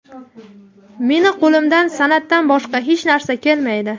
Meni qo‘limdan san’atdan boshqa hech narsa kelmaydi.